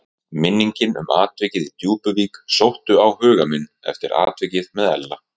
Minningin um atvikið í Djúpuvík sótti á huga minn eftir atvikið með Ella.